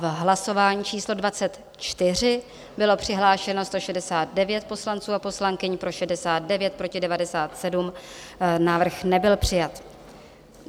V hlasování číslo 24 bylo přihlášeno 169 poslanců a poslankyň, pro 69, proti 97, návrh nebyl přijat.